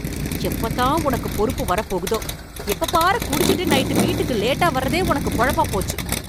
எப்பதான் உனக்கு பொறுப்பு வரப்போகுதோ? எப்ப பாரு குடிச்சிட்டு நைட்டு வீட்டுக்கு லேட்டா வரதே உனக்கு பொழப்பா போச்சு.